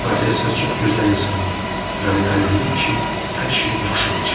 Professor çox gözəl insandır, məni əmin edib ki, hər şey yaxşı olacaq.